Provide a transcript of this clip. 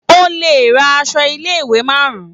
O lè ra aṣọ ilé-ìwé márùn-ún.